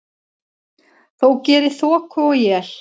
þó geri þoku og él.